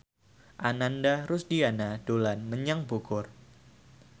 Ananda Rusdiana dolan menyang Bogor